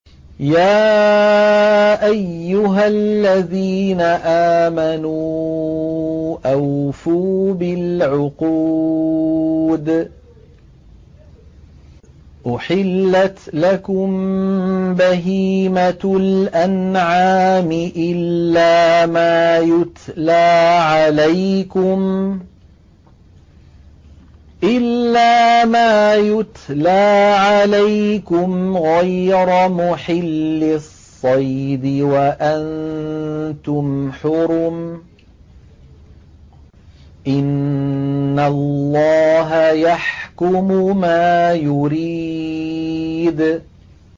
يَا أَيُّهَا الَّذِينَ آمَنُوا أَوْفُوا بِالْعُقُودِ ۚ أُحِلَّتْ لَكُم بَهِيمَةُ الْأَنْعَامِ إِلَّا مَا يُتْلَىٰ عَلَيْكُمْ غَيْرَ مُحِلِّي الصَّيْدِ وَأَنتُمْ حُرُمٌ ۗ إِنَّ اللَّهَ يَحْكُمُ مَا يُرِيدُ